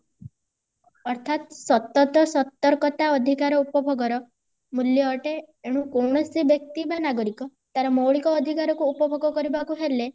ଅର୍ଥାତ ସତତଃ ସତର୍କତା ଅଧିକାର ଉପଭୋଗର ମୂଲ୍ୟ ଅଟେ ଏଣୁ କୌଣସି ବ୍ୟକ୍ତି ବା ନାଗରିକ ତାର ମୌଳିକ ଅଧିକାରକୁ ଉପଭୋଗ କରିବାକୁ ହେଲେ